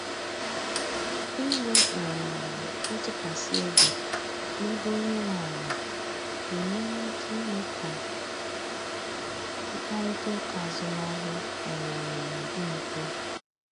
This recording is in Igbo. Inwe um ntụkwasị obi na-ebe onye nwe ala na-enyere aka ime ka mkparịta ụka azụmahịa um dị mfe.